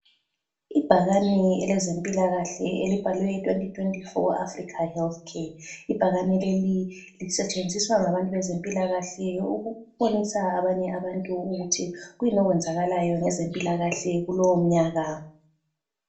Ibhakane elezempilakahle elibhalwe 2024 Africa Healthcare, ibhakane leli lisetshenziswa ngabantu bezempilakahle. Ukubonisa abanye abantu ukuthi kuyini okwenzakalayo ngezempilakahle kulowo mnyaka.